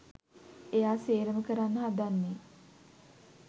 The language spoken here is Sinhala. එයා සේරම කරන්න හදන්නෙ